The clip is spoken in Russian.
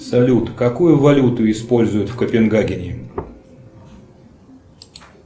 салют какую валюту используют в копенгагене